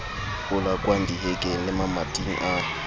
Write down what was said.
polakwang dihekeng le mamating a